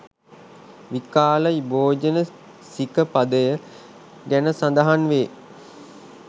විකාල භෝජන සික පදය ගැන සඳහන් වේ.